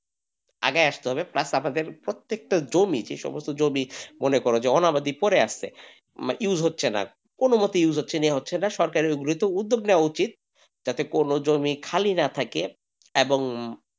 আগে আমাদের আসতে হবে plus আমাদের প্রত্যেকটা জমি যে সমস্ত জমি মনে করো যে অনাবাদি পড়ে আছে plus হচ্ছে না কোনমতে plus হচ্ছে না হচ্ছে না সরকার মূলত উদ্যোগ নেওয়া উচিত যাতে কোনো জমি খালি না থাকে এবং,